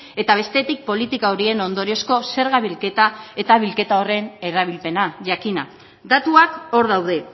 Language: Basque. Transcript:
eta bestetik politika horien ondoriozko zerga bilketa eta bilketa horren erabilpena jakina datuak hor daude